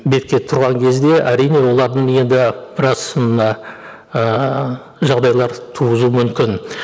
бетке тұрған кезде әрине олардың енді біраз мына ііі жағдайлар туғызу мүмкін